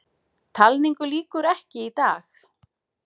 Talningu lýkur ekki í dag